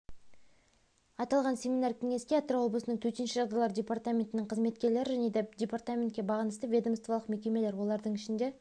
аталған семинар кеңеске атырау облысының төтенше жағдайлар департаментінің қызметкерлері және департаментке бағынысты ведомстволық мекемелер олардың ішінде